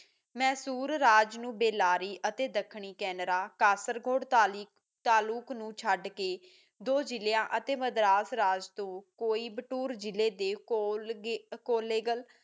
ਮੈਸੂਰ ਰਾਜ ਨੂੰ ਬੇਲਾਰੀ ਅਤੇ ਦੱਖਣੀ ਕੇਨਰਾ ਖਾਸਰ ਕੋਟ ਨੂੰ ਤਾਲੁਕ ਛੱਡ ਕੇ ਦੋ ਜਿਲਿਆਂ ਮਦਰਾਸ ਰਾਜ ਕੋਈ ਬਤੁਰ ਜਿਲਏ ਦੇ ਕੋਲੇਗਾਲ